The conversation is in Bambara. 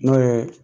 N'o ye